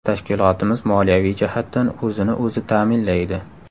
Tashkilotimiz moliyaviy jihatdan o‘zini-o‘zi ta’minlaydi.